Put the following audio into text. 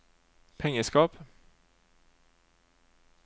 pengeskap